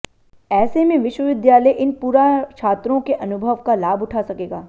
ऐसे में विश्वविद्यालय इन पुरा छात्रों के अनुभव का लाभ उठा सकेगा